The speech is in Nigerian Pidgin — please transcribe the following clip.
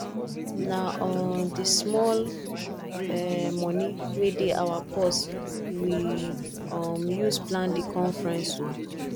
na um di small um moni wey dey our purse we um use plan di conference o